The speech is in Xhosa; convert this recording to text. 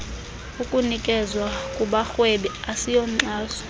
ukunikezwa kubarhwebi asiyonkxaso